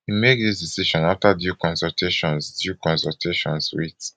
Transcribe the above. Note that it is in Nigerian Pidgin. e make dis decision afta due consultations due consultations wit